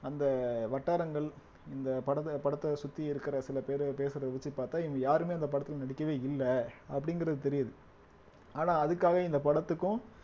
அந்த வட்டாரங்கள் இந்த படத்தை படத்தை சுத்தி இருக்கிற சில பேரு பேசுறதை வச்சு பார்த்தா இவங்க யாருமே அந்த படத்தில நடிக்கவே இல்ல அப்படிங்கிறது தெரியுது ஆனா அதுக்காக இந்த படத்துக்கும்